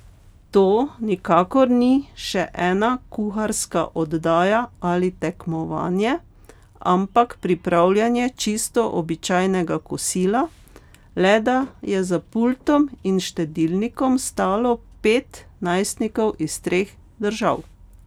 To nikakor ni še ena kuharska oddaja ali tekmovanje, ampak pripravljanje čisto običajnega kosila, le da je za pultom in štedilnikom stalo pet najstnikov iz treh držav.